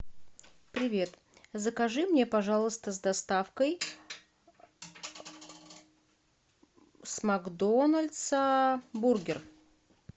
привет закажи мне пожалуйста с доставкой с макдональдса бургер